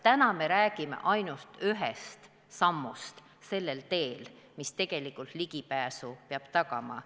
Täna me räägime ainult ühest sammust sellel teel, mis tegelikult ligipääsu peab tagama.